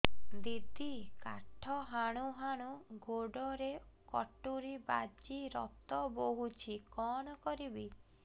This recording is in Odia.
ଦିଦି କାଠ ହାଣୁ ହାଣୁ ଗୋଡରେ କଟୁରୀ ବାଜି ରକ୍ତ ବୋହୁଛି କଣ କରିବି